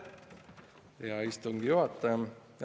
Aitäh, hea istungi juhataja!